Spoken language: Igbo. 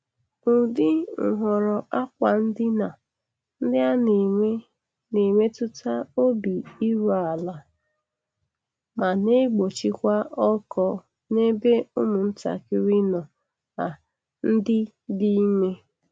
Ụdị nhọrọ akwa ndina ndị ana-eme na-emetụta obi iru ala ma na-egbochikwa ọkọ n'ebe ụmụ ntakịrị no a ndị dị ime.